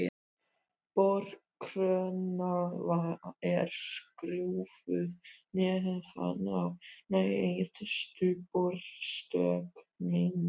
Borkróna er skrúfuð neðan á neðstu borstöngina.